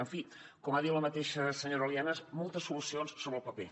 en fi com ha dit la mateixa senyora lienas moltes solucions sobre el paper